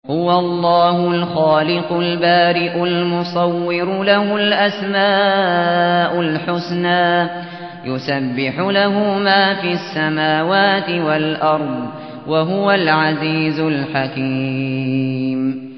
هُوَ اللَّهُ الْخَالِقُ الْبَارِئُ الْمُصَوِّرُ ۖ لَهُ الْأَسْمَاءُ الْحُسْنَىٰ ۚ يُسَبِّحُ لَهُ مَا فِي السَّمَاوَاتِ وَالْأَرْضِ ۖ وَهُوَ الْعَزِيزُ الْحَكِيمُ